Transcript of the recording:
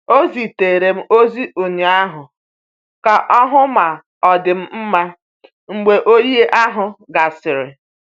Ọ zitere m ozi ụnyaahụ ka ọ hụ ma ọ dị m mma mgbe oyi ahụ gasịrị.